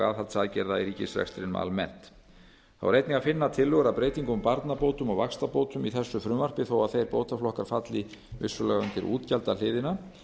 aðhaldsaðgerða í ríkisrekstrinum almennt þá er einnig að finna tillögur að breytingum á barnabótum og vaxtabótum í þessu frumvarpi þó að þeir bótaflokkar falli vissulega undir útgjaldahliðina